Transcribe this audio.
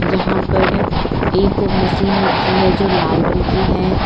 यहां पर एक मशीन रखी है जो लाल रंग की है।